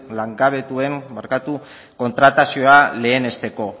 langabetuen kontratazioa lehenesteko